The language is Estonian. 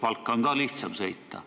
Valka on ju ka nüüd lihtsam sõita.